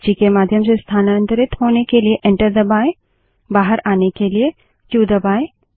सूची के माध्यम से स्थानांतरित होने के लिए एंटर दबायें बाहर आने के लिए क्यू क्यू दबायें